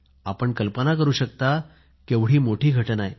आपण कल्पना करू शकता केवढी मोठी घटना आहे